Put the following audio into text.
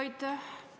Aitäh!